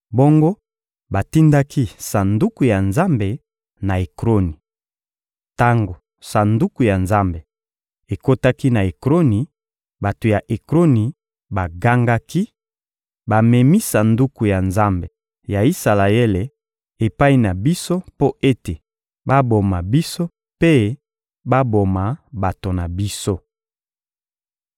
Bongo batindaki Sanduku ya Nzambe na Ekroni. Tango Sanduku ya Nzambe ekotaki na Ekroni, bato ya Ekroni bagangaki: — Bamemi Sanduku ya Nzambe ya Isalaele epai na biso mpo ete baboma biso mpe baboma bato na biso.